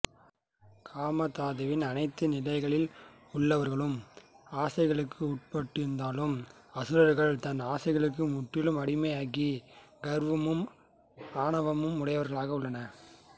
காமதாதுவின் அனைத்து நிலைகளில் உள்ளவர்களும் ஆசைகளுக்கு உட்பட்டிருந்தாலும் அசுரகள் தான் ஆசைகளுக்கு முற்றிலும் அடிமையாகி கர்வமும் ஆணவமும் உடையவர்களாக உள்ளனர்